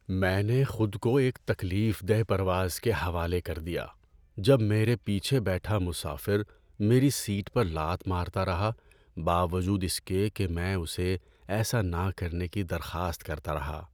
میں نے خود کو ایک تکلیف دہ پرواز کے حوالے کر دیا جب میرے پیچھے بیٹھا مسافر میری سیٹ پر لات مارتا رہا باوجود اس کے کہ میں اسے ایسا نہ کرنے کی درخواست کرتا رہا۔